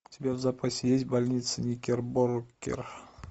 у тебя в запасе есть больница никербокер